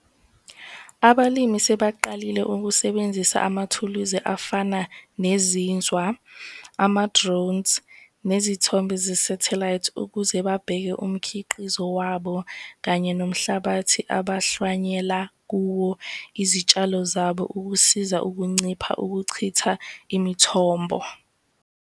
Abalimi sebaqalile ukusebenzisa amathuluzi afana nezinzwa, ama-drones, nezithombe ze-satellite ukuze babheke umkhiqizo wabo kanye nomhlabathi abahlwanyela kuwo izitshalo zabo ukusiza ukuncipha ukuchitha imithombo.